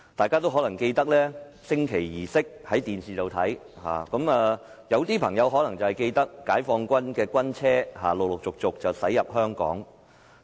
很多人可能觀看電視直播的升旗儀式，而有些朋友可能仍記得解放軍的軍車陸續駛入香港。